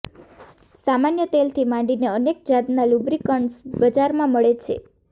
સામાન્ય તેલથી માંડીને અનેક જાતના લુબ્રિકન્ટ્સ બજારમાં મળે છે